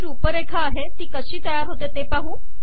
ही रुपरेखा आहे ती कशी तयार होते160